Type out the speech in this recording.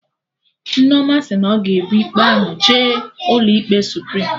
Nneoma sị na ọ ga-ebu ikpe ahụ jee ụlọ ikpe Suprim